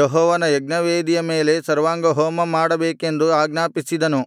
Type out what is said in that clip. ಯೆಹೋವನ ಯಜ್ಞವೇದಿಯ ಮೇಲೆ ಸರ್ವಾಂಗಹೋಮ ಮಾಡಬೇಕೆಂದು ಆಜ್ಞಾಪಿಸಿದನು